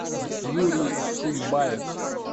юрий шунбаев